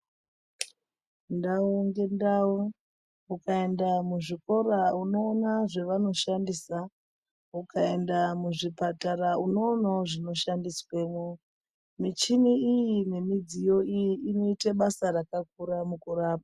Ndau ngendau, ukaenda muzvikora unoona zvevanoshandisa. Ukaenda muzvipatara unoonawo zvinoshandiswemo. Michini iyi nemidziyo iyi inoite basa rakakura mukurapa.